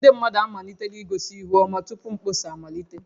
Ndị mmadụ amalitela igosi ihu ọma tupu mkpọsa amalite